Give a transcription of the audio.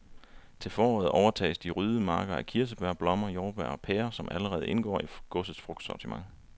Til foråret overtages de ryddede marker af kirsebær, blommer, jordbær og pærer, som allerede indgår i godsets frugtsortiment.